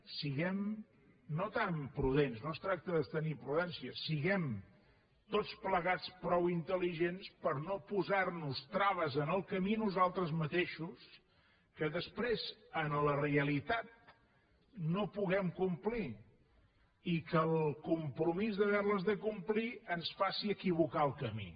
siguem no tant prudents no es tracta de tenir prudència siguem tots plegats prou intel·ligents per no posar nos traves en el camí nosaltres mateixos que després en la realitat no puguem complir i que el compromís d’haver les de complir ens faci equivocar el camí